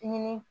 Ɲini